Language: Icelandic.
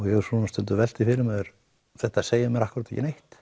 ég hef stundum velt því fyrir mér þetta segir mér akkúrat ekki neitt